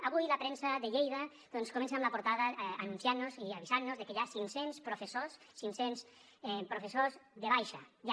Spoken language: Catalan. avui la premsa de lleida comença amb la portada anunciant nos i avisant nos de que hi ha cinc cents professors cinc cents professors de baixa ja